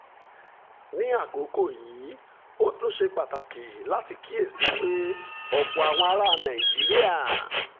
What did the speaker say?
ní àkókò yìí ó tún ṣe pàtàkì láti kíyè sí i pé ọ̀pọ̀ àwọn ará nàìjíríà